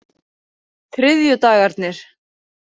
þriðjudagarnir